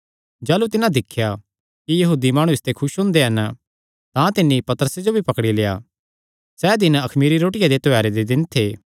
जाह़लू तिन्हां दिख्या कि यहूदी माणु इसते खुस हुंदे हन तां तिन्नी पतरसे जो भी पकड़ी लेआ सैह़ दिन अखमीरी रोटिया दे त्योहारे दे दिन थे